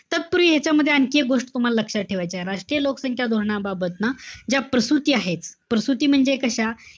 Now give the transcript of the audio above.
तत्पूर्वी ह्यांच्यामध्ये आणखी एक गोष्ट तुम्हाला लक्षात ठेवायचीय. राष्ट्रीय लोकसंख्या धोरणाबाबत ना ज्या प्रसूती आहेत. प्रसूती म्हणजे कशा?